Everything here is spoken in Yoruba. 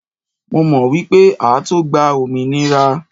Mo mọ̀ wípé á tó gba òmìnira.